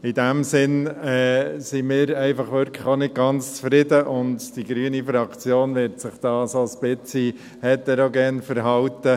In diesem Sinn sind wir einfach auch nicht ganz zufrieden, und die grüne Fraktion wird sich da ein wenig heterogen verhalten.